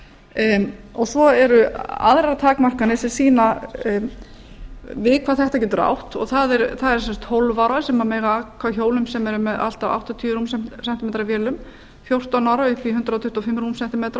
utan vega svo eru aðrar takmarkanir sem sýna við hvað þetta getur átt og það eru sem sagt tólf ára sem aka hjólum sem eru með allt að áttatíu rúm sentí metra vélum fjórtán ára upp í hundrað tuttugu og fimm rúm sentí metra og